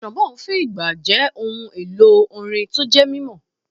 Trombone fi ìgbà jẹ́ ohun èlò orin tó jẹ́ mímọ́.